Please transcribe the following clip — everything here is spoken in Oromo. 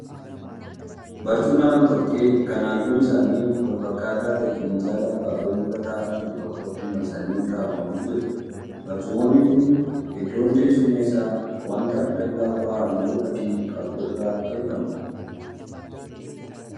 Barcuma nama tokkee kan halluun isaanii wal fakkaataa ta'e minjaala abaaboon irra ta'aa jiru tokkotti marsanii kaawwamanii jiru. Barcumoonni kun iddoon teessuma isaa waanta lallaafaa halluu adii qabu irraa tolfame.